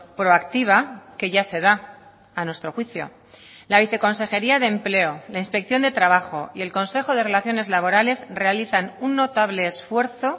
proactiva que ya se da a nuestro juicio la viceconsejería de empleo la inspección de trabajo y el consejo de relaciones laborales realizan un notable esfuerzo